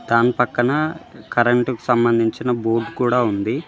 దాని పక్కన కరెంటుకు సంబంధించిన బోర్డ్ కూడా ఉంది.